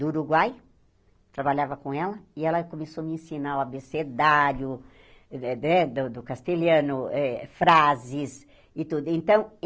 do Uruguai, trabalhava com ela, e ela começou a me ensinar o abecedário de de do do castelhano, frases e tudo. Então